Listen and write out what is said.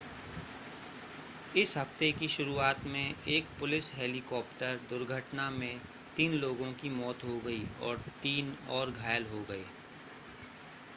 इस हफ्ते की शुरुआत में एक पुलिस हेलीकॉप्टर दुर्घटना में तीन लोगों की मौत हो गई और तीन और घायल हो गए